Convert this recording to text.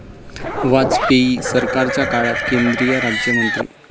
वाजपेयी सरकारच्या काळात केंद्रीय राज्यमंत्री